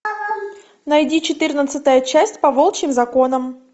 найди четырнадцатая часть по волчьим законам